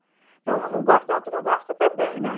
Então, um não gosta, o outro não gosta também, né?